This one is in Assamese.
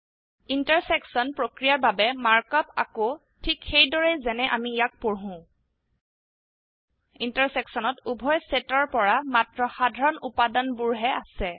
ইণ্টাৰচেকশ্যন প্ৰক্ৰিয়াৰ বাবে মাৰ্ক আপ আকৌ ঠিক সেইদৰেই যেনে অামি ইয়াক পঢ়ো intersectionত উভয় সেটৰ পৰা মাত্ৰ সাধাৰণ উপাদানবোৰহে আছে